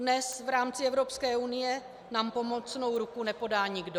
Dnes v rámci Evropské unie nám pomocnou ruku nepodá nikdo.